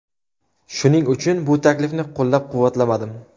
Shuning uchun bu taklifni qo‘llab-quvvatlamadim”.